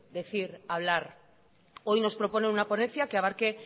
decir y hablar hoy nos propone una ponencia que abarque